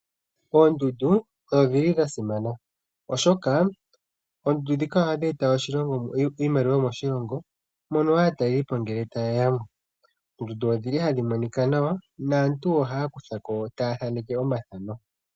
Oondundu odhili dhasimana, oshoka oondundu ndhika ohadhi eta iimaliwa moshilongo uuna aatalelipo ngele tayeyamo . Oondundu odhili hadhi monika nawa .naantu ohaya thaneke omathano.